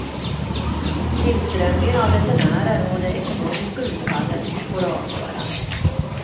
Tillströmningen av resenärer och det ekonomiska utfallet får avgöra.